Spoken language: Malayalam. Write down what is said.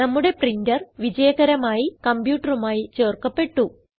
നമ്മുടെ പ്രിന്റർ വിജയകരമായി കംപ്യൂട്ടറുമായി ചേർക്കപ്പെട്ടു